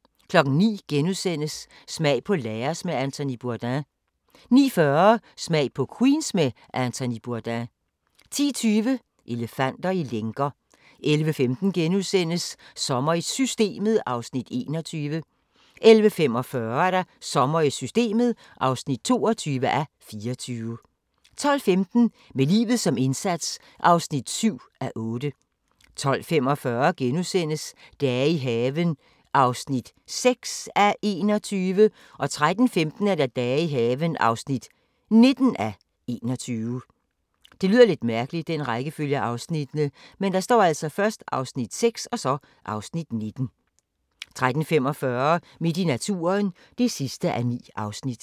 * 09:00: Smag på Laos med Anthony Bourdain * 09:40: Smag på Queens med Anthony Bourdain 10:20: Elefanter i lænker 11:15: Sommer i Systemet (21:24)* 11:45: Sommer i Systemet (22:24) 12:15: Med livet som indsats (7:8) 12:45: Dage i haven (6:21)* 13:15: Dage i haven (19:21) 13:45: Midt i naturen (9:9)